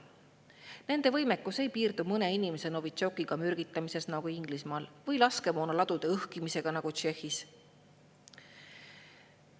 Nende võimekus ei piirdu mõne inimese mürgitamisega Novitšokiga nagu Inglismaal või laskemoonaladude õhkimisega nagu Tšehhis.